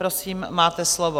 Prosím, máte slovo.